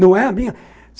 Não é a minha.